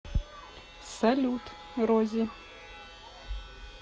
салют рози